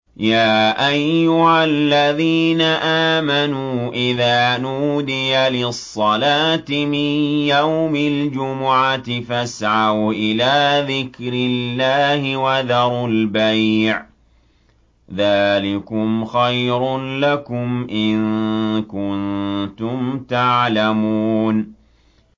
يَا أَيُّهَا الَّذِينَ آمَنُوا إِذَا نُودِيَ لِلصَّلَاةِ مِن يَوْمِ الْجُمُعَةِ فَاسْعَوْا إِلَىٰ ذِكْرِ اللَّهِ وَذَرُوا الْبَيْعَ ۚ ذَٰلِكُمْ خَيْرٌ لَّكُمْ إِن كُنتُمْ تَعْلَمُونَ